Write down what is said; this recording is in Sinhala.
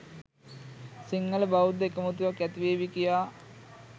සිංහල බෞද්ධ එකමුතුවක් ඇතිවේවි කියා